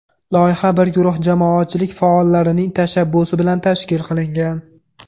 Loyiha bir guruh jamoatchilik faollarining tashabbusi bilan tashkil qilingan.